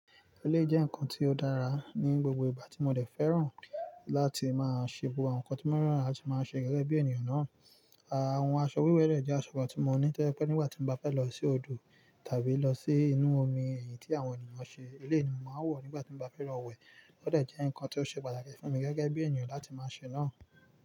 Eleyii jẹ́ nǹkan tí ó dára ní gbogbo ìgbà tí mo dẹ̀ fẹ́ràn láti máa ṣe àwọn nǹkan tí ó mọ́feràn láti máa ṣe gẹ́gẹ́ bí ènìyàn náà. Àwon aṣọ wíwẹ̀ de jẹ́ aṣọ kan tí mo ní to je pé nígbà tí mo bá fẹ́ lọ sí odò tàbí lọ sí inú omi èyí tí àwọn ènìyàn ṣe, eleyi ni mo máa ń wọ̀ nígbà tí mo bá fẹ́ lọ wẹ̀. O dẹ̀ jẹ́ nǹkan tí ó ṣe pàtàkì fún mi gẹ́gẹ́ bí ènìyàn láti máa ṣe náà.